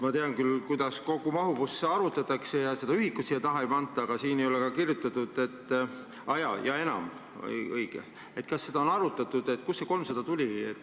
Ma tean küll, kuidas kogumahutavust arvutatakse ja et seda ühikut siia taha ei panda, aga kas seda on arutatud, kust see 300 tuli.